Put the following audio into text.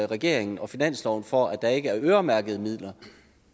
regeringen og finansloven for at der ikke er øremærkede midler